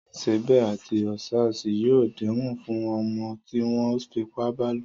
Sèbé àti Òòṣà yóò dẹ́wọ̀n fún ọmọ tí wọ́n fipá bálò.